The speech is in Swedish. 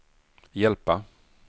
hjälpa